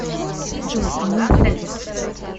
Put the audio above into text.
джой они уходят